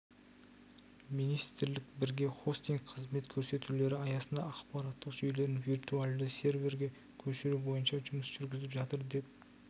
министрлік бірге хостинг қызмет көрсетулері аясында ақпараттық жүйелерін виртуалды серверге көшіру бойынша жұмыс жүргізіп жатыр деп